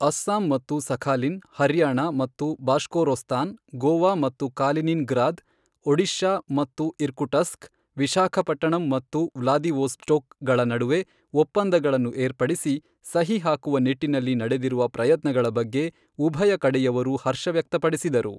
ಅಸ್ಸಾಂ ಮತ್ತು ಸಖಾಲಿನ್, ಹರ್ಯಾಣ ಮತ್ತು ಬಾಷ್ಕೊರೋಸ್ತಾನ್, ಗೋವಾ ಮತ್ತು ಕಾಲಿನಿನ್ ಗ್ರಾದ್, ಒಡಿಶಾ ಮತ್ತು ಇರ್ಕುಟಸ್ಕ್, ವಿಶಾಖಪಟ್ಟಣಂ ಮತ್ತು ವ್ಲಾದಿವೋಸ್ಟೋಕ್ ಗಳ ನಡುವೆ ಒಪ್ಪಂದಗಳನ್ನು ಏರ್ಪಡಿಸಿ ಸಹಿ ಹಾಕುವ ನಿಟ್ಟಿನಲ್ಲಿ ನಡೆದಿರುವ ಪ್ರಯತ್ನಗಳ ಬಗ್ಗೆ ಉಭಯ ಕಡೆಯವರೂ ಹರ್ಷ ವ್ಯಕ್ತಪಡಿಸಿದರು.